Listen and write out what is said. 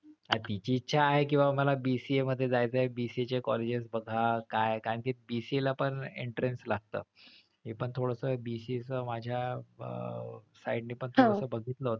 तिची इच्छा आहे कि बाबा मला BCA मध्ये जायचंय BCA चे colleges बघा काय कारण कि BCA ला पण entrance लागत, मी पण थोडस BCA च माझ्या अह side ने पण थोडंसं बघितलं होतं.